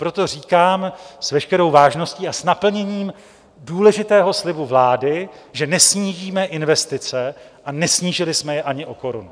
Proto říkám s veškerou vážností a s naplněním důležitého slibu vlády, že nesnížíme investice a nesnížili jsme je ani o korunu.